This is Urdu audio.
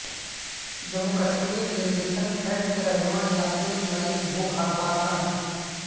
جموں کشمیر لبریشن فرنٹ کے رہنما یاسین ملک بھوک ہڑتال پر ہیں